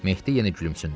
Mehdi yenə gülümsündü.